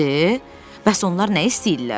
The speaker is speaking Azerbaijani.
Bəs onlar nə istəyirlər?